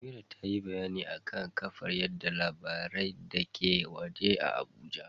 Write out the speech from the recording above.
Amira tayi bayani akan kafar yada labarai dake waje a Abuja.